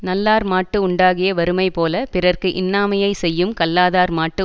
நல்லார்மாட்டு உண்டாகிய வறுமைபோலப் பிறர்க்கு இன்னாமையைச் செய்யும் கல்லாதார்மாட்டு